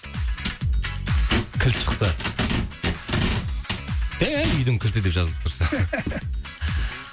кілт шықса үйдің кілті деп жазылып тұрса